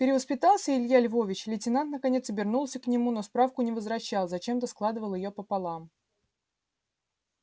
перевоспитался илья львович лейтенант наконец обернулся к нему но справку не возвращал зачем-то складывал её пополам